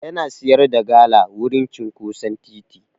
Yana sayar da gala wurin cinƙoson titi.